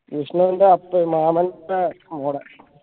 വിഷ്ണുൻറെ മാമൻറെ മോളെ